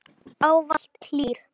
Ávallt hlýr.